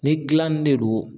Ni gilanni de don